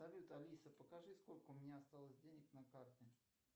салют алиса покажи сколько у меня осталось денег на карте